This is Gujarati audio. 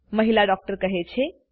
મહિલા ડૉક્ટર કહે છે